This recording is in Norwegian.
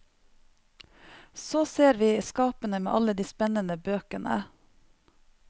Så ser vi skapene med alle de spennende bøkene.